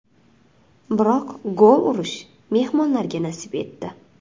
Biroq gol urish mehmonlarga nasib etdi.